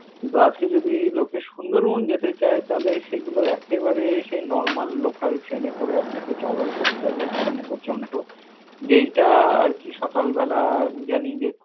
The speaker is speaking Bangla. কিন্তু আজকে যদি লোকে সুন্দরবন যেতে চায়, তাহলে সেগুলো একেবারে সেই normal local train এ করে আপনাকে travel করতে হবে ক্যানিং পর্যন্ত। যেইটা আরকি সকালবেলা আমি জানি যে।